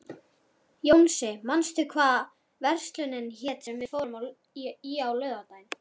Jónsi, manstu hvað verslunin hét sem við fórum í á laugardaginn?